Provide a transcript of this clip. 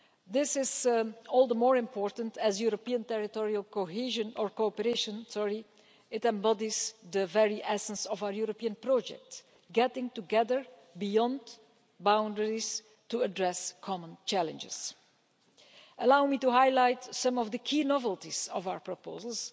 This is all the more important as European Territorial Cooperation embodies the very essence of our European project getting together beyond boundaries to address common challenges. Allow me to highlight some of the key novelties of our proposals.